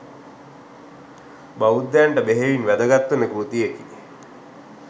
බෞද්ධයන්ට බෙහෙවින් වැදගත්වන කෘතියකි.